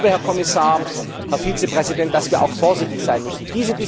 Aber ich glaube, Herr Kommissar, Herr Vizepräsident, dass wir auch vorsichtig sein müssen.